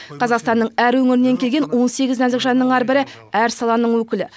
қазақстанның әр өңірінен келген он сегіз нәзік жанның әрбірі әр саланың өкілі